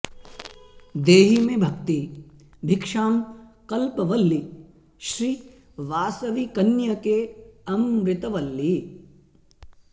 देहि मे भक्ति भिक्षां कल्पवल्लि श्री वासवी कन्यके अमृतवल्लि